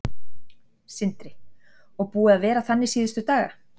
Sindri: Og búið að vera þannig síðustu daga?